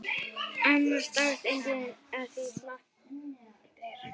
Annars dáist enginn að því sem smátt er.